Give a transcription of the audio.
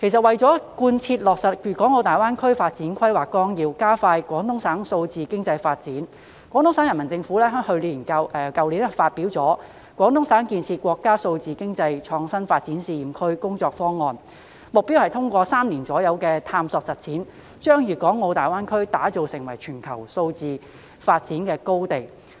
為了貫徹落實《粤港澳大灣區發展規劃綱要》及加快廣東省數字經濟發展，廣東省人民政府去年發表了《廣東省建設國家數字經濟創新發展試驗區工作方案》，目標是通過3年左右的探索實踐，把粤港澳大灣區打造成為全球數字經濟發展高地。